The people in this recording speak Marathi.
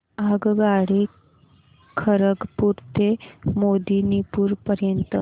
आगगाडी खरगपुर ते मेदिनीपुर पर्यंत